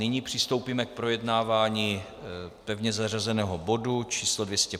Nyní přistoupíme k projednávání pevně zařazeného bodu číslo